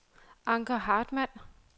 Anker Hartmann